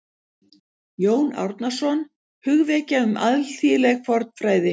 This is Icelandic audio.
Jón Árnason: Hugvekja um alþýðleg fornfræði